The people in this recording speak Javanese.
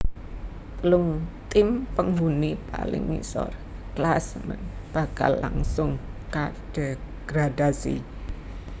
Telung tim penghuni paling ngisor klasemen bakal langsung kadegradasi